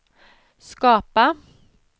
skapa